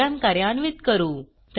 programme कार्यान्वित करू